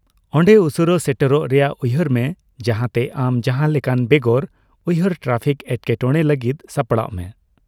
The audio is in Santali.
ᱚᱸᱰᱮ ᱩᱥᱟᱹᱨᱟ ᱥᱮᱴᱮᱨᱚᱜ ᱨᱮᱭᱟᱜ ᱩᱭᱦᱟᱹᱨ ᱢᱮ ᱡᱟᱦᱟᱸᱛᱮ ᱟᱢ ᱡᱟᱦᱟᱸᱞᱮᱠᱟᱱ ᱵᱮᱜᱚᱨ ᱩᱭᱦᱟᱹᱨ ᱴᱨᱟᱯᱷᱤᱠ ᱮᱴᱠᱮᱴᱚᱬᱮ ᱞᱟᱹᱜᱤᱫ ᱥᱟᱯᱲᱟᱜ ᱢᱮ ᱾